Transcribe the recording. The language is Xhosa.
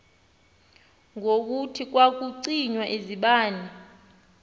ngokuthi kwakucinywa izibane